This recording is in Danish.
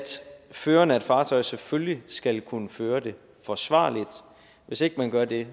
føreren af et fartøj selvfølgelig skal kunne føre det forsvarligt hvis ikke man gør det